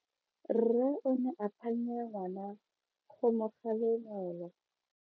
Rre o ne a phanya ngwana go mo galemela.